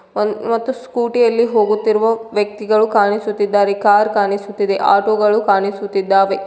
One ಮತ್ತು scooty ಯಲ್ಲಿ ಹೋಗುತ್ತಿರುವ ವ್ಯಕ್ತಿಗಳು ಕಾಣಿಸುತಿದ್ದಾರೆ ಕಾರ್ ಕಾಣಿಸುತ್ತಿದೆ ಆಟೋ ಗಳು ಕಾಣಿಸುತ್ತಿದ್ದಾವೆ.